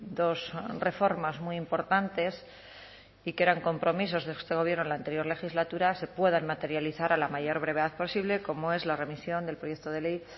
dos reformas muy importantes y que eran compromisos de este gobierno en la anterior legislatura se puedan materializar a la mayor brevedad posible como es la remisión del proyecto de ley